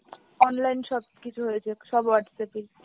online সবকিছু হয়েছে সব Whatsapp এই,